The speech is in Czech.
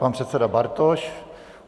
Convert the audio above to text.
Pan předseda Bartoš.